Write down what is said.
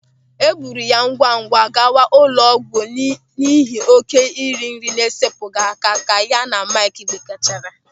E buru ya ngwangwa gawa ụlọ ọgwụ n'ihi oké iri nri na-esepụghị aka ka ya na Maịkị gbakechara.